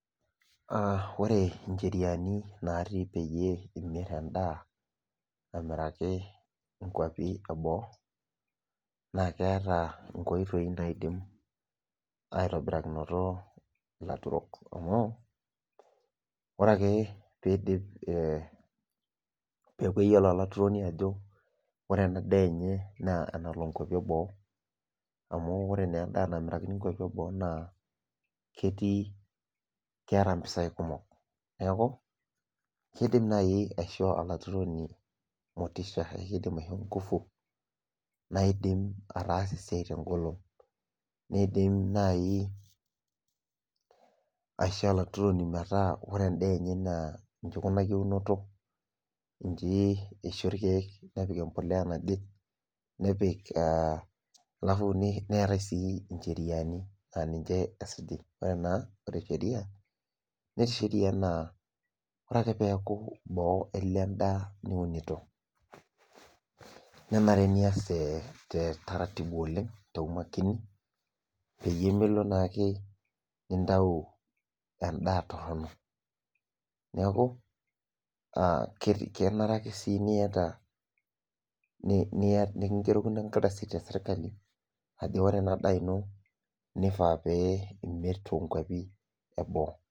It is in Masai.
Aa ore ncheriani natii peyie imir endaa amiraki nkwapi eboo na keeta nkoitoi naidim aitobirakino laturok amuore ake peidip peaku keyiolo olaturoni ajo ore enadaa enyena enalo nkwapi eboo amu ore na endaa namirakini nkwapi eboo ketii keata mpisai kumok neaku kidim nai aisho olaturoni motisha naidiim ataasa esiai tengolon nidim si aisho olaturoni metaa njibikunaki enturoto nji isho irkiek nepik empolea naje nepik aa neetae si ncheriani na ninche esuji na ore sheria netii sheria na ore ake oeaku boo elo endaa niunito nenare nias te taratibu, makini peyie milo ake nintau endaa toronok neakubkenare ake nikingerokini enkardasi teserkali ajoki ore ena daa ino kenare ake pimir tosokoni leboo.